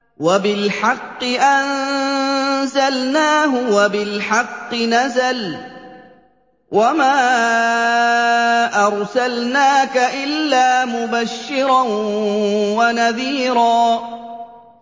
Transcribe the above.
وَبِالْحَقِّ أَنزَلْنَاهُ وَبِالْحَقِّ نَزَلَ ۗ وَمَا أَرْسَلْنَاكَ إِلَّا مُبَشِّرًا وَنَذِيرًا